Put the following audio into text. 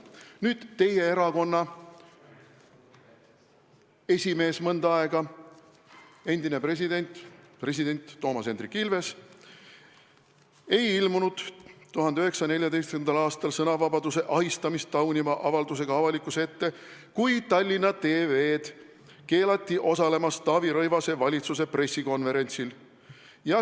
" Mõnda aega teie erakonna esimees olnud, endine president Toomas Hendrik Ilves ei ilmunud 2014. aastal sõnavabaduse ahistamist tauniva avaldusega avalikkuse ette, kui Tallinna TV-l keelati osalemast Taavi Rõivase valitsuse pressikonverentsil.